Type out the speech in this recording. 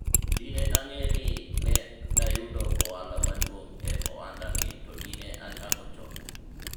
dine ang'e ni ne dayudo ohala maduong' e ohanda ni to dine achako chon